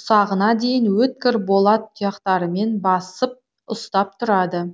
ұсағына дейін өткір болат тұяқтарымен басып ұстап тұрады